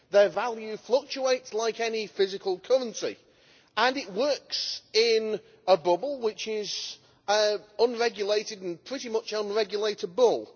Their value fluctuates like any physical currency, and this works in a bubble which is unregulated and pretty much unregulatable.